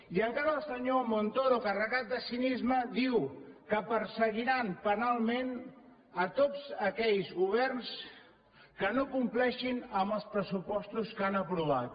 i encara el senyor montoro carregat de cinisme diu que perseguiran penalment tots aquells governs que no compleixin amb els pressupostos que han aprovat